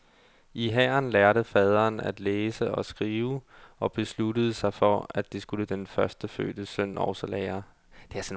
I hæren lærte faderen at læse og skrive og besluttede sig for, at det skulle den førstefødte søn også lære.